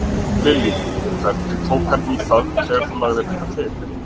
Lillý: Hvernig tók hann í það þegar þú lagðir þetta til?